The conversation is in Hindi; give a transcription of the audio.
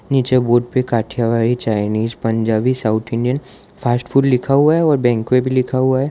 नीचे बोर्ड पे Kathiawadi Chinese Punjabi south Indian fast food लिखा हुआ है और बैंक्वे में भी लिखा हुआ है।